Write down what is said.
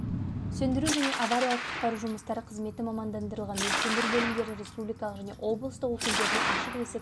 сөндіру және авариялық-құтқару жұмыстары қызметі мамандандырылған өрт сөндіру бөлімінде республикалық және облыстық өкілдеріне ашық есік